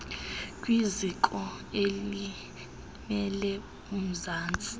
kwiziko elimele umzantsi